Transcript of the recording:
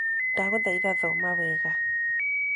Ndagũthaĩtha thoma wega.